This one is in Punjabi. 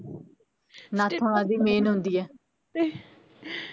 ਨੱਥ ਓਨਾ ਦੀ main ਹੁੰਦੀ ਐ